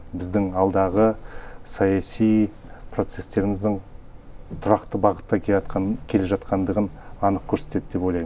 біздің алдағы саяси процестеріміздің тұрақты бағытта келе жатқанындығын анық көрсетеді деп ойлаймын